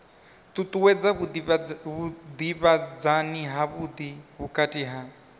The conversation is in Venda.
ṱuṱuwedza vhudavhidzani havhudi vhukati ha